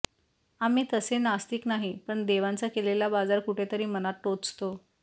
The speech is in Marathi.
आम्ही तसे नास्तिक नाही पण देवांचा केलेला बाजार कुठेतरी मनात टोचतो